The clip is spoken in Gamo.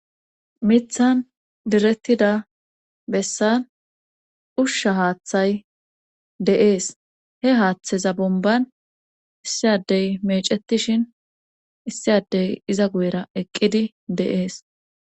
mithan direttida bessan ushsha haaththay de7ees he haaththeza bomban issi addey mecettishin issi addey iza guyera eqqidi de7ees